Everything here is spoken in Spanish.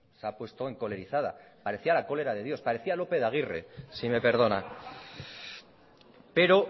se ha puesto encolerizada parecía la cólera de dios parecía lope de aguirre si me perdona pero